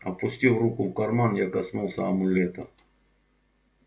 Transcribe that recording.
опустив руку в карман я коснулся амулета